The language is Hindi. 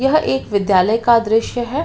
यह एक विद्यालय का दृश्य है।